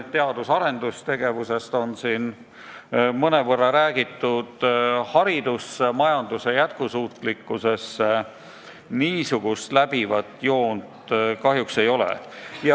Teadus- ja arendustegevusest on siin mõnevõrra räägitud, aga jah, üldist jätkusuutlikkust silmas pidavat joont kahjuks ei ole.